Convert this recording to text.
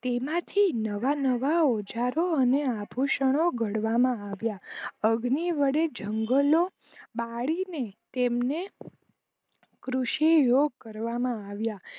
તે માથી નવા નવા ઓજારો અને આભૂષણો ઘડવામાં આવ્યા અગ્નિ વડે જુંગલો બાડી ને તેમને કૃષિ યોગ કરવામાં આવ્યા